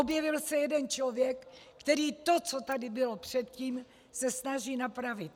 Objevil se jeden člověk, který to, co tady bylo předtím, se snaží napravit.